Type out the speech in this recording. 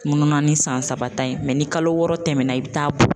Mununanin san saba ta in ni kalo wɔɔrɔ tɛmɛnna i bɛ taa bɔ.